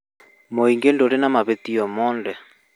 Mũingĩ ndũrĩ na mahĩtia mothe